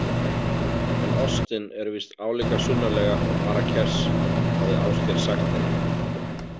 En Austin er víst álíka sunnarlega og Marrakesh, hafði Ásgeir sagt henni.